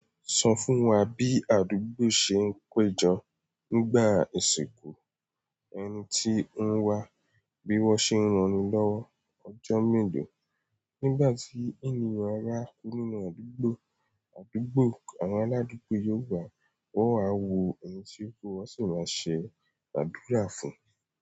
Sọ fún wa bí àdúgbò ṣe ń péjọ nígbà ìsìnkú ẹni tí ó ń wá, bí wọ́n ṣe ń rántí lọ́wọ́ ọjọ́ mélòó nígbà tí ènìyàn bá ku nínú àdúgbò, àdúgbò àwọn aládùúgbò yóò wá wọ́n wa wo ẹni tí o kú, wọn sì máa ṣe àdúrà fún.